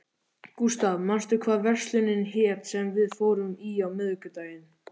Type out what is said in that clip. Gustav, manstu hvað verslunin hét sem við fórum í á miðvikudaginn?